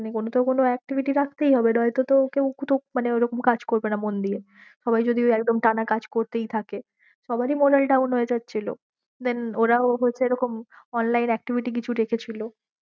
মানে কোনো তো কোনো activity রাখতেই হবে নয়তো তো কেউ মানে ওরম কাজ করবে না মন দিয়ে, সবাই যদি ঐএকদম টানা কাজ করতেই থাকে, সবার ই moral down হয়ে যাচ্ছিল, then ওরাও হচ্ছে এরকম online activity কিছু রেখেছিল